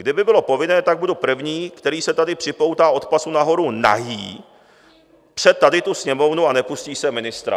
Kdyby bylo povinné, tak budu první, který se tady připoutá od pasu nahoru nahý před tady tu Sněmovnu a nepustím sem ministra."